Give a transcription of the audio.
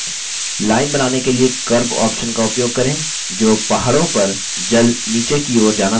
line बनाने के लिए curve option का उपयोग करें जो पहाड़ों पर जल नीचे की ओर जाना दर्शाती है